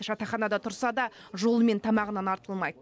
жатақханада тұрса да жолы мен тамағынан артылмайды